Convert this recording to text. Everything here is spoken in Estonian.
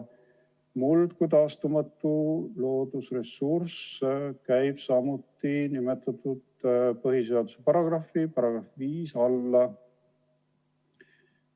Muld kui taastumatu loodusressurss käib samuti põhiseaduse § 5 alla.